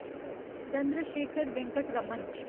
Chandrashekhar Venkat Raman